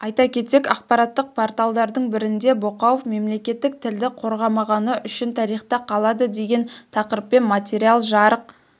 айта кетсек ақпараттық порталдардың бірінде боқауов мемлекеттік тілді қорғамағаны үшін тарихта қалады деген тақырыппен материал жарық